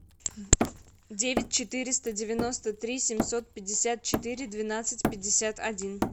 девять четыреста девяносто три семьсот пятьдесят четыре двенадцать пятьдесят один